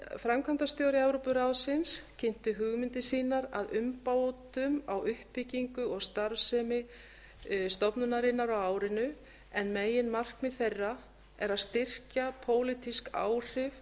framkvæmdastjóri evrópuráðsins kynnti hugmyndir sínar að umbótum á uppbyggingu og starfsemi stofnunarinnar á árinu en meginmarkmið þeirra er að styrkja pólitísk áhrif